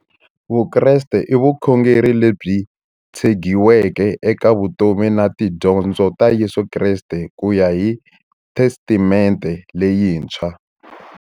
Vukreste i vukhongeri lebyi tshegiweke eka vutomi na tidyondzo ta Yesu Kreste kuya hi Testamente leyintshwa.